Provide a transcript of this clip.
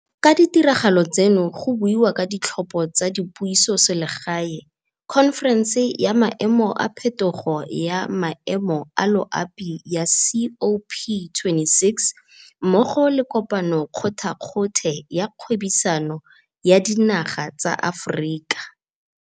Ka ditiragalo tseno go buiwa ka Ditlhopho tsa Dipusoselegae, khonferense ya Maemo a Phetogo ya Maemo a Loapi ya COP26 mmogo le Kopano kgothakgothe ya Kgwebisano ya Dinaga tsa Aforika.